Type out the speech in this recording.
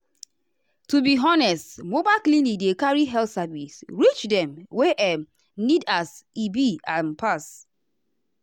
to be honest mobile clinic dey carry health service reach dem wey um needas e be am pass.